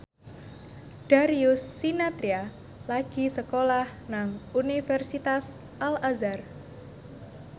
Darius Sinathrya lagi sekolah nang Universitas Al Azhar